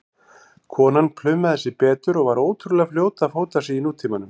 Konan plumaði sig betur og var ótrúlega fljót að fóta sig í nútímanum.